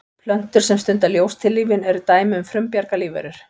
plöntur sem stunda ljóstillífun eru dæmi um frumbjarga lífverur